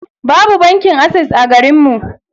Babu bankin ases a garinmu.